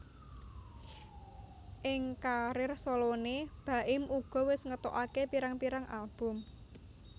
Ing karir soloné Baim uga wis ngetokaké pirang pirang album